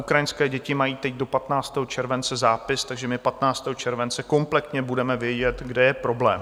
Ukrajinské děti mají teď do 15. července zápis, takže my 15. července kompletně budeme vědět, kde je problém.